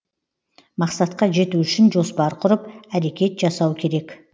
мақсатқа жету үшін жоспар құрып әрекет жасау керек